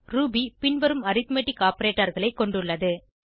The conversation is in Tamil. ரூபி பின்வரும் அரித்மெட்டிக் operatorகளை கொண்டுள்ளது